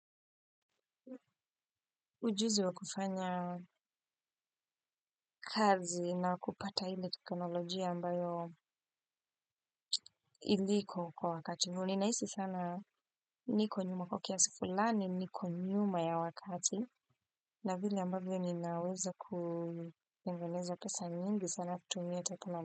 Ujuzi wa kufanya kazi na wakupata ile teknolojia ambayo iliko kwa wakati. Ninahisi sana niko nyuma kwa kiasi fulani, niko nyuma ya wakati. Na vile ambavyo ninaweza kutengeneza pesa nyingi sana kutumia teknolojia.